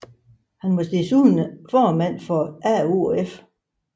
Han var desuden formand for AOF